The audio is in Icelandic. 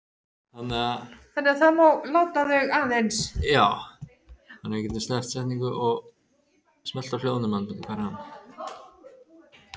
En væri kauphöllin í London sú eina sem kæmi til greina?